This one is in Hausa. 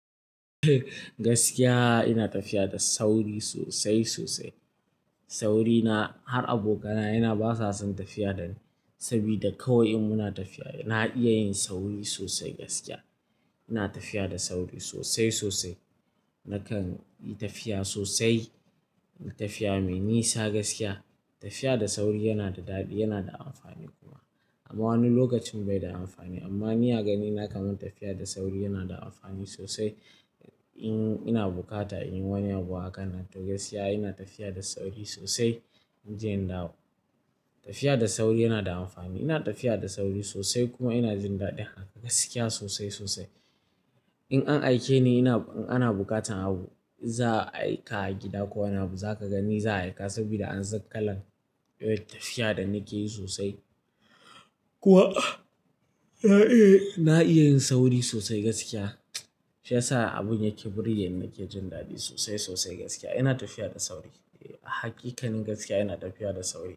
Gaskiya ina tafiya da sauri sosai sosai. Saurina har abokanaye na basa son tafiya dani, sabida kawai in muna tafiya na iya yin sauri sosai gaskiya. Ina tafiya da sauri sosai sosai. Nakan yi tafiya sosai, tafiya mai nisa gaskiya. Tafiya da sauri yana da daɗi, yana da amfani kuma. Amma wani lokacin bai da amfani. Amma ni a ganina kaman tafiya da sauri yana da amfani sosai. In ina buƙata in wani abu hakan nan to gaskiya ina tafiya da sauri sosai. Inje in dawo. Tafiya da sauri yana da amfani. Ina tafiya da sauri sosai kuma ina jin daɗi haka gaskiya sosai sosai. In an aike ni ina-- in ana buƙatan abu, za'a aika a gida ko wani abu, za ka ga ni za'a aika sabida an san kalan, yawan tafiya da nike yi sosai. Kuma, na iya yin sauri sosai gaskiya. Shi ya sa abun yake burge ni, nake jin daɗi sosai sosai gaskiya. Ina tafiya da sauri. Eh, hakikanin gaskiya ina tafiya da sauri.